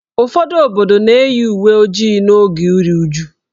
Ụfọdụ obodo na-eyiri uwe ojii n'oge iru uju.